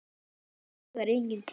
Mér dugar engin týra!